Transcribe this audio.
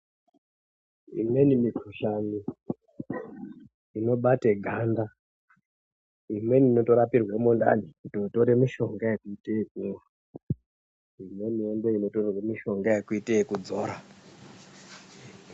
Imweni mihkuhlani inobate ganda imweni inotorapirwe mundani kutotore mishonga yekuite ekumwa imweni ndiyo inotorerwe mishonga yekuite ekudzora.